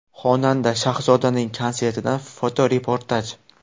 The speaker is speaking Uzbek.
Xonanda Shahzodaning konsertidan fotoreportaj.